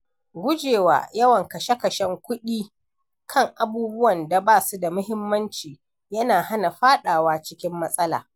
Gujewa yawan kashe kuɗi kan abubuwan da ba su da muhimmanci yana hana faɗawa cikin matsala.